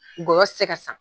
Ngoyɔ tɛ se ka san.